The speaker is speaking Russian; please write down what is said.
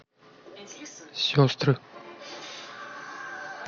сестры